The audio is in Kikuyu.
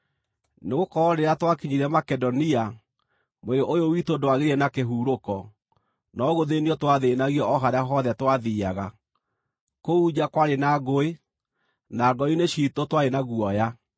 Nĩgũkorwo rĩrĩa twakinyire Makedonia, mwĩrĩ ũyũ witũ ndwagĩire na kĩhurũko, no gũthĩĩnio twathĩĩnagio o harĩa hothe twathiiaga; kũu nja kwarĩ na ngũĩ, na ngoro-inĩ ciitũ twarĩ na guoya.